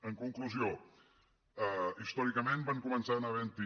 en conclusió històricament van començar havent hi